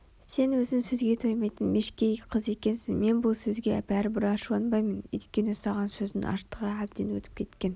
сен өзін сөзге тоймайтын мешкей қыз екенсің мен бұл сөзге бәрібір ашуланбаймын Өйткені саған сөздің аштығы әбден өтіп кеткен